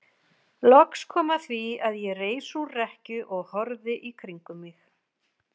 Loks kom að því að ég reis úr rekkju og horfði í kringum mig.